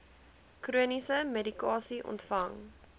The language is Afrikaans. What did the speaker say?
chroniese medikasie ontvang